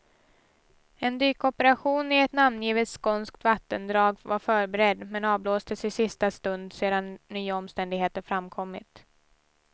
En dykoperation i ett namngivet skånskt vattendrag var förberedd, men avblåstes i sista stund sedan nya omständigheter framkommit.